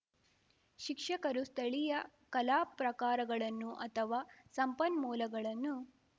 ಶಿಕ್ಷಕರು ಸ್ಥಳೀಯ ಕಲಾಪ್ರಕಾರಗಳನ್ನು ಅಥವಾ ಸಂಪನ್ಮೂಲಗಳನ್ನು